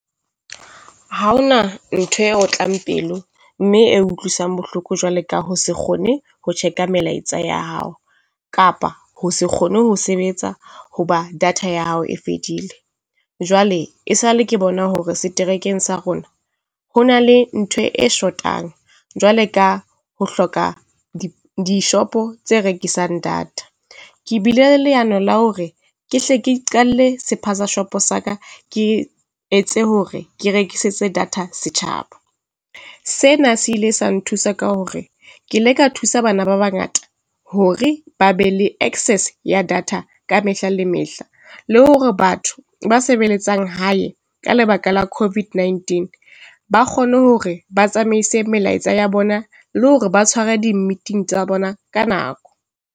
Ha ho na ntho e otlang pelo mme e utlwisang bohloko jwale ka ho se kgone ho check-a melaetsa ya hao, kapa ho se kgone ho sebetsa hoba data ya hao e fedile. Jwale e sa le ke bona hore seterekeng sa rona, ho na le ntho e short-ang jwale ka ho hloka dishopo tse rekisang data, Ke bile leano la hore ke hle ke iqalle sephaza shopo sa ka, ke etse hore ke rekisetse data setjhaba. Sena se ile sa nthusa ka hore ke ile ka thusa bana ba bangata hore ba be le access ya data ka mehla le mehla, le hore batho ba sebeletsang hae ka lebaka la COVID-19, ba kgone hore ba tsamaise melaetsa ya bona le hore ba tshware di meeting tsa bona ka nako.